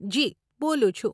જી, બોલું છું.